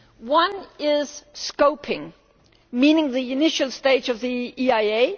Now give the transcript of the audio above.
One is scoping, meaning the initial stage of the EIA.